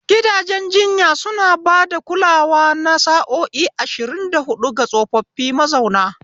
Gidajen jinya suna ba da kulawa na sa'o'i ashirin da hudu ga tsofaffi mazauna.